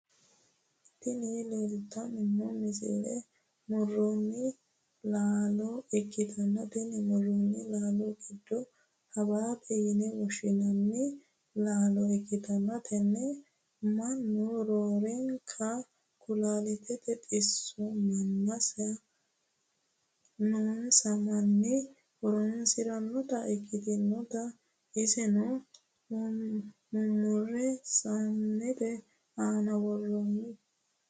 tini leeltanni noo misile muronna lalo ikkitanna, tini muronna laalote giddo habaabe yine woshshi'nanni laalo ikkitanna, tenne mannu roorenkanni kulaalitette xisso noonsa manni horonsi'rannota ikkitanna, iseno mumure saanete aana worroonni.